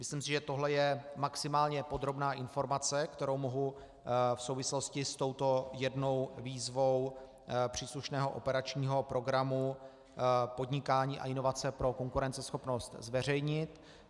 Myslím si, že tohle je maximálně podrobná informace, kterou mohu v souvislosti s touto jednou výzvou příslušného operačního programu Podnikání a inovace pro konkurenceschopnost zveřejnit.